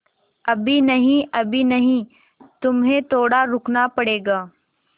अभी नहीं अभी नहीं तुम्हें थोड़ा रुकना पड़ेगा